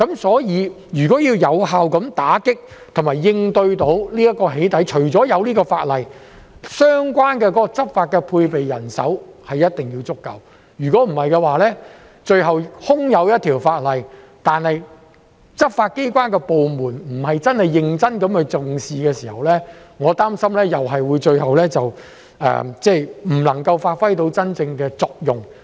所以，如果要有效打擊和應對"起底"行為，除了要有這項法例，相關執法工作所配備的人手也一定要足夠，否則，空有這一項法例，但執法機關部門卻不是認真重視的話，我擔心有關法例最後又是無法發揮真正作用。